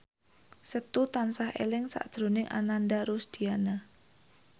Setu tansah eling sakjroning Ananda Rusdiana